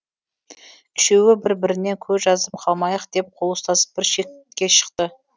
үшеуі бір бірінен көз жазып қалмайық деп қол ұстасып бір шетке шықты